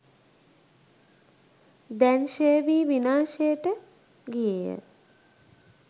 දැන් ක්‍ෂය වී විනාශයට ගියේ ය.